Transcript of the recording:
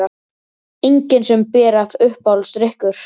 Engin sem ber af Uppáhaldsdrykkur?